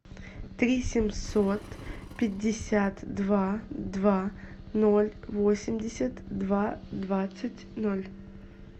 три семьсот пятьдесят два два ноль восемьдесят два двадцать ноль